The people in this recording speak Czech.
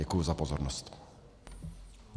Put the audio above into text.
Děkuji za pozornost.